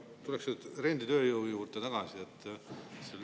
Ma tuleks renditööjõu juurde tagasi.